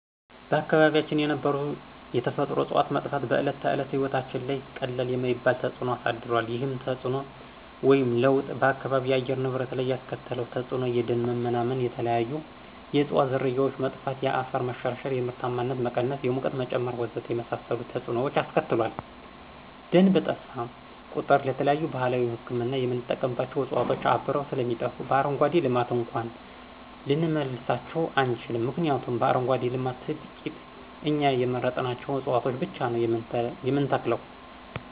በአካባቢያችን የነበሩ የተፈጥሮ ዕፅዋት መጥፋት በዕለተ ተዕለት ሕይወታችን ላይ ቀላል የማይባል ተፅዕኖ አሳድሯል። ይህም ተፅዕኖ ወይም ለውጥ በአካባቢው የአየር ንብረት ላይ ያስከተለው ተፅዕኖ የደን መመናመን፣ የተለያዩ የዕፅዋት ዝርያዎች መጥፋት፣ የአፈር መሸርሸር፣ የምርታማነት መቀነስ፣ የሙቀት መጨመር ወዘተ የመሳሰሉትን ተፅዕኖዎች አስከትሏል። ደን በጠፋ ቁጥር ለተለያዩ ባህላዊ ህክምና የምንጠቀምባቸው ዕፅዋት አብረው ስለሚጠፉ በአረንጓዴ ልማት እንኳን ልንመልሳቸው አንችልም ምክንያቱም በአረንጓዴ ልማት ትቂት እኛ የመረጥናቸውን ዕፅዋቶች ብቻ ነው የምንተክለው።